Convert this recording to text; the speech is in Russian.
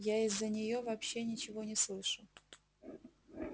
я из-за неё вообще ничего не слышу